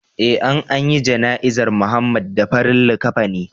Eh an anyi jana izar Muhammad da farin likafani